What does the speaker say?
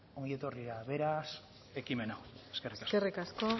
ongietorri beraz ekimen hau eskerrik asko eskerrik asko